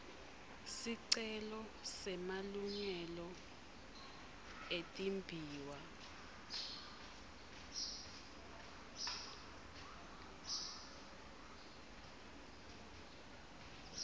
sicelo semalungelo etimbiwa